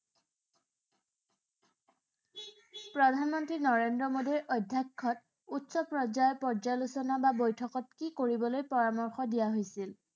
প্ৰধানমন্ত্ৰী নৰেন্দ্ৰ মোদীৰ অধ্যক্ষত উচ্চ পৰ্যায়ৰ পৰ্যালোচনা বা বৈঠকত কি কৰিবলৈ পৰামৰ্শ দিয়া হৈছিল?